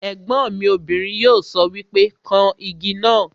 Ègbọ́n mi obìnrin yóò sọ wípé 'kan Igi náà '